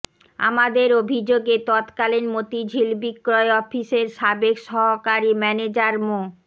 আমাদের অভিযোগে তৎকালীন মতিঝিল বিক্রয় অফিসের সাবেক সহকারী ম্যানেজার মো